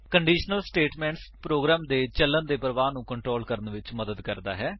conditional statement ਇੱਕ programme ਦੇ ਚੱਲਨ ਦੇ ਪਰਵਾਹ ਨੂੰ ਕੰਟ੍ਰੋਲ ਕਰਨ ਵਿੱਚ ਮਦਦ ਕਰਦਾ ਹੈ